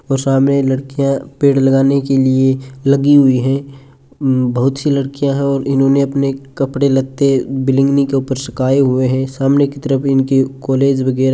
और सामने लड़कियां पेड़ लगाने के लिए लगी हुई है बहुत सी लड़कियां है और इन्होंने अपने कपड़े लगते लगते बिलिंगनी के ऊपर सुखाए हुआ है सामने की तरफ इनकी कॉलेज वगेरा --